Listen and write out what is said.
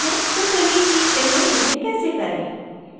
तो चलिए सीखते हैं कि यह कैसे करें